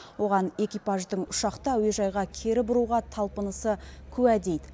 оған экипаждың ұшақты әуежайға кері бұруға талпынысы куә дейді